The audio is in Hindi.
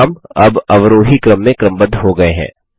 नाम अब अवरोही क्रम में क्रमबद्ध हो गये हैं